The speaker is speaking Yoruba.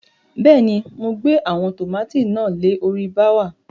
Bẹ́ẹ̀ ni, mo gbe àwọn tòmátì náà le orí bááwà.